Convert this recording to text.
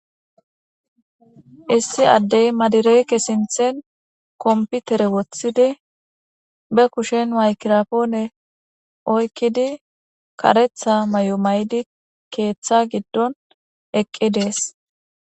Issi addey madireyke sinthen komputere woththidi be kushen maykirapoone oykkidi karetha may'o may'di keeththa giddon eqqi dees